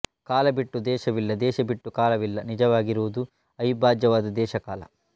ಕಾಲ ಬಿಟ್ಟು ದೇಶವಿಲ್ಲ ದೇಶ ಬಿಟ್ಟು ಕಾಲವಿಲ್ಲ ನಿಜವಾಗಿರುವುದು ಅವಿಭಾಜ್ಯವಾದ ದೇಶಕಾಲ